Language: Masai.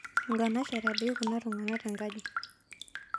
Nkanashara dei kunatungana tenkaji